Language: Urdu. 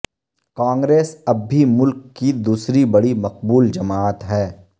کانگریس اب بھی ملک کی دوسری بڑی مقبول جماعت ہے